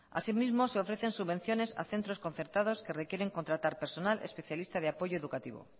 asimismo se ofrecen subvenciones a centros concertados que requieren contratar personal especialista de apoyo educativo